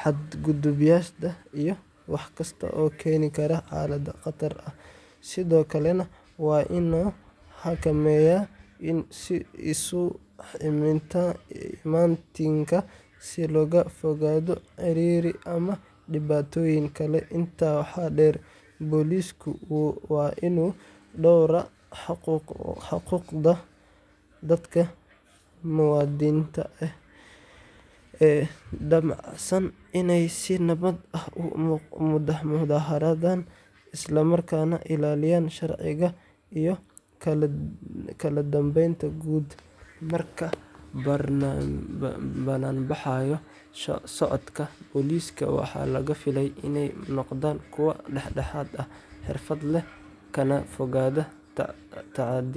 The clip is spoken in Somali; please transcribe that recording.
xadgudubyada, iyo wax kasta oo keeni kara xaalad khatar ah, sidoo kalena waa inuu xakameeyaa isu imaatinka si looga fogaado ciriiri ama dhibaatooyin kale. Intaa waxaa dheer, boolisku waa inuu dhowraa xuquuqda dadka muwaadiniinta ah ee damacsan inay si nabad ah u mudaharaadaan, isla markaana ilaalinayaa sharciga iyo kala dambeynta guud. Marka bannaanbaxyo socdaan, booliska waxaa laga filayaa inay noqdaan kuwo dhexdhexaad ah, xirfad leh, kana fogaada tacaddiyada.